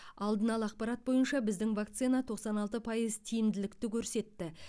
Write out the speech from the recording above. алдын ала ақпарат бойынша біздің вакцина тоқсан алты пайыз тиімділікті көрсетті